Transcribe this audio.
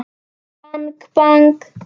Bang bang.